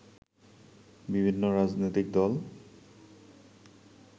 বিভিন্ন রাজনৈতিক দল